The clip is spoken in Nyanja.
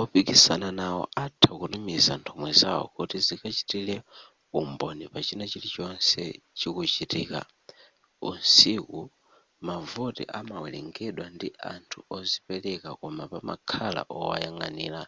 opikisana nawo atha kutumiza nthumwi zawo kuti zikachitire umboni pachina chili chonse chikuchitika usiku mavoti amawerengedwa ndi anthu ozipereka koma pamakhala wowayang'anira